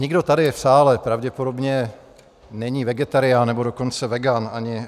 Nikdo tady v sále pravděpodobně není vegetarián, nebo dokonce vegan.